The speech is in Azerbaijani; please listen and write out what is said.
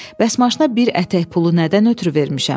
Bəs maşına bir ətək pulu nədən ötrü vermişəm?